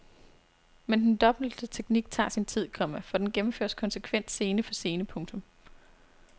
Men den dobbelte teknik tager sin tid, komma for den gennemføres konsekvent scene for scene. punktum